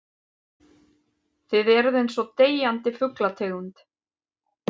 Þið eruð einsog deyjandi fuglategund.